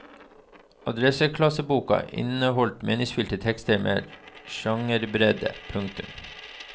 Andreklasseboka inneholder meningsfylte tekster med sjangerbredde. punktum